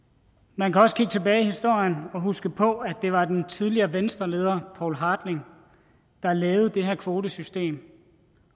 man kan også kigge tilbage i historien og huske på at det var den tidligere venstreleder poul hartling der lavede det her kvotesystem